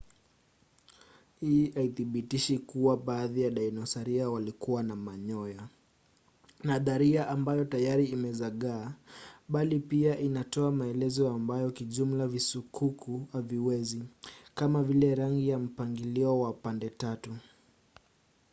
hii haithibitishi tu kuwa baadhi ya dinosaria walikuwa na manyoya nadharia ambayo tayari imezagaa bali pia inatoa maelezo ambayo kijumla visukuku haviwezi kama vile rangi na mpangilio wa pande-tatu